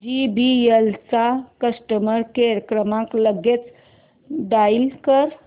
JBL चा customer care क्रमांक लगेच डायल कर